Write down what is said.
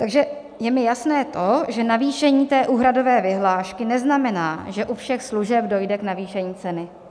Takže je mi jasné to, že navýšení té úhradové vyhlášky neznamená, že u všech služeb dojde k navýšení ceny.